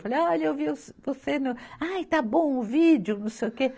Falei, olha, eu vi o, você no. Ah, e está bom o vídeo, não sei o quê.